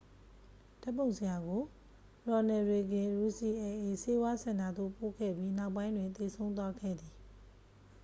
ဓာတ်ပုံဆရာကို ရော်နယ်လ်ရေဂင် ယူစီအယ်လ်အေ ဆေးဝါးစင်တာသို့ပို့ခဲ့ပြီး နောက်ပိုင်းတွင် သေဆုံးသွားခဲ့သည်